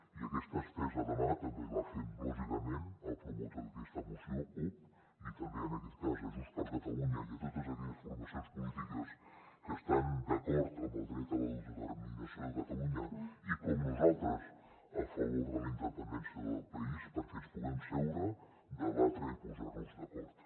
i aquesta estesa de mà també la fem lògicament al promotor d’aquesta moció cup i també en aquest cas a junts per catalunya i a totes aquelles formacions polítiques que estan d’acord amb el dret a l’autodeterminació de catalunya i com nosaltres a favor de la independència del país perquè ens puguem asseure debatre i posar nos d’acord